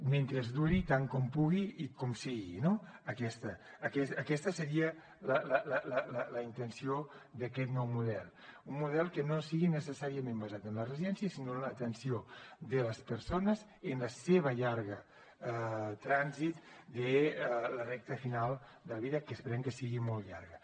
mentre duri tant com pugui i com sigui no aquesta seria la intenció d’aquest nou model un model que no sigui necessàriament basat en les residències sinó en l’atenció de les persones en el seu llarg trànsit de la recta final de la vida que esperem que sigui molt llarga